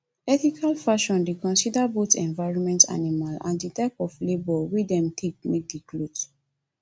ethical fashion dey consider both environment animal and di type of labour wey dem take make di cloth